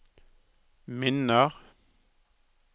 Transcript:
minner